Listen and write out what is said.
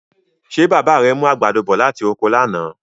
Ṣé bàbá rẹ mú àgbàdo bọ̀ láti oko lánàá?